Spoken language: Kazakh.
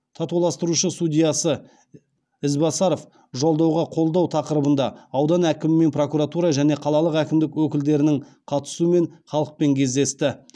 татуластырушы судьясы избасаров жолдауға қолдау тақырыбында аудан әкімі мен прокуратура және қалалық әкімдік өкілдерінің қатысуымен халықпен кездесті